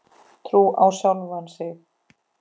Trú á sjálfan sig.